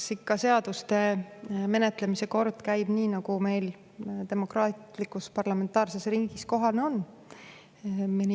Eks ikka seaduste menetlemine käib nii, nagu meil demokraatlikus parlamentaarses riigis kohane on.